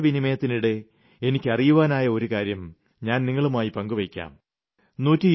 ഞങ്ങളുടെ ആശയവിനിമയത്തിനിടെ എനിയ്ക്കറിയുവാനായ ഒരു കാര്യം ഞാൻ നിങ്ങളുമായി പങ്കുവെയ്ക്കാം